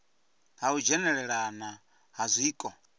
ha u dzhenelelana ha zwiko